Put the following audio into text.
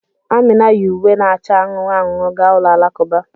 Amina yi uwe na-acha anụnụ anụnụ gaa ụlọ alakụba